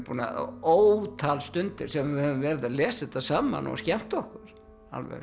ótal stundir sem við höfum verið að lesa þetta saman og skemmta okkur alveg